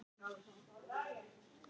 Þeir skildu okkur eftir einar.